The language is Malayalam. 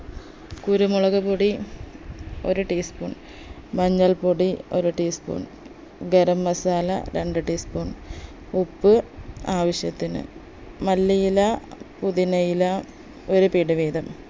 കുരുമുളക് പൊടി ഒരു tablespoon മഞ്ഞൾപ്പൊടി ഒരു tea spoon ഗരം masala രണ്ട് tea spoon ഉപ്പ് ആവശ്യത്തിന് മല്ലിയില പുതിനയില ഒരു പിടി വീതം